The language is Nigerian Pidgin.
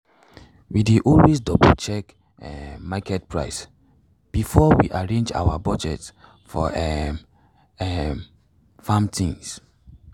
we dey always double-check um market price before we arrange our budget for um um farm things.